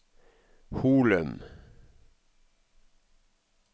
Holum